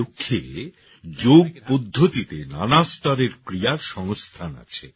এই লক্ষ্যে যোগ পদ্ধতিতে নানা স্তরের ক্রিয়ার সংস্থান আছে